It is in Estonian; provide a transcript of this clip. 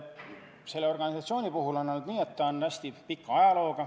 Selle organisatsiooni ajalugu on hästi pikk.